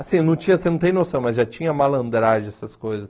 Assim, não tinha... Você não tem noção, mas já tinha malandragem, essas coisas.